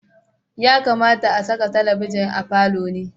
Ya kamata a saka talabijin a falo ne.